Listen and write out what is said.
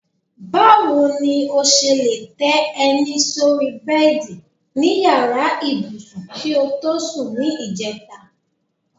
Báwo ni o s̩e lè té̩ e̩ní sórí bé̩è̩dì ní yàrá ibùsùn kí o tọ́ sùn ní ìje̩ta?